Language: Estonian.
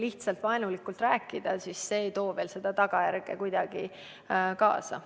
Lihtsalt vaenulikult rääkimine ei too veel tagajärge kaasa.